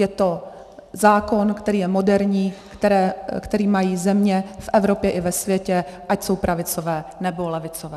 Je to zákon, který je moderní, který mají země v Evropě i ve světě, ať jsou pravicové, nebo levicové.